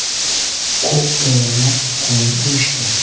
Ko‘p bora qon quyishdi.